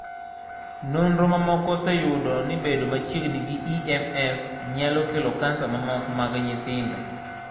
Nonro mamoko oseyudo ni bedo machiegni gi EMF nyalo kelo kansa mamoko mag nyithindo.